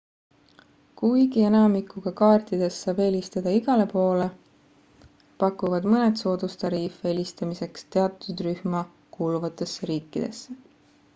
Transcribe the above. kuigi enamikuga kaartidest saab helistada igale poole pakuvad mõned soodustariife helistamiseks teatud rühma kuuluvatesse riikidesse